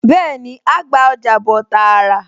Bẹ́ẹ̀ni, á á gba ọjà bọ̀ tààrà